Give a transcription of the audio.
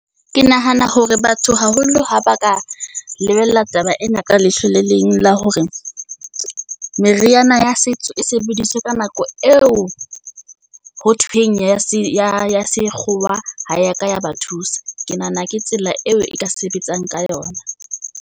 Ke nahana hore batho haholo ha ba ka lebella taba ena ka leihlo le leng. La hore meriana ya setso e sebediswe ka nako eo ho thweng ya se ya sekgowa ha ya ka ya ba thusa. Ke nahana ke tsela eo e ka sebetsang ka yona.